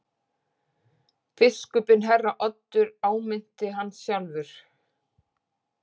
Biskupinn herra Oddur áminnti hann sjálfur.